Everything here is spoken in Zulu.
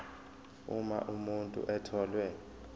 uma umuntu etholwe